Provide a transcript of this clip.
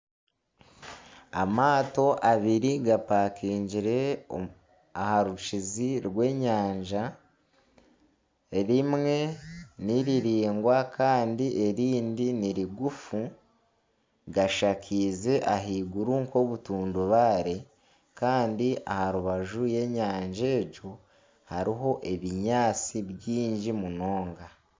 Amaato abari gapakingire aha rukizi rw'enyanja. Erimwe niriringwa Kandi erindi ni rigufu. Gashakiize ah'iguru nka obutundubaare Kandi aharubaju rw'enyanja egyo, hariho ebinyaatsi bingi munonga.